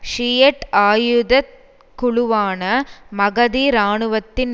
Shiite ஆயுத குழுவான மகதி இராணுவத்தின்